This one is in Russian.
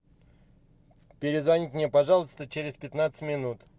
перезвоните мне пожалуйста через пятнадцать минут